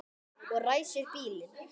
Og ræsir bílinn.